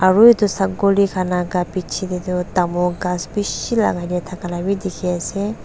aru edu sakuli khan laka bichae taetu tamul ghas bishi lakai na thakala bi dikhiase.